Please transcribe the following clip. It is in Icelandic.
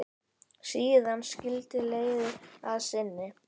Síðan skildi leiðir að sinni.